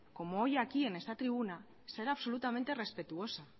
como hoy aquí en esta tribuna ser absolutamente respetuosa